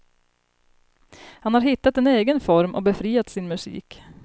Han har hittat en egen form och befriat sin musik.